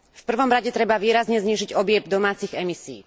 V prvom rade treba výrazne znížiť objem domácich emisií.